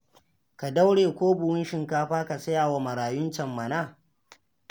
Ka daure ko buhun shinkafa ka saya wa marayun can mana